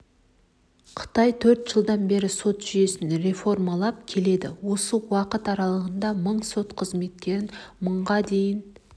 қытай төрт жылдан бері сот жүйесін реформалап келеді осы уақыт аралығында мың сот қызметкерін мыңға дейін